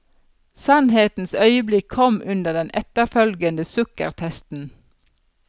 Sannhetens øyeblikk kom under den etterfølgende sukkertesten.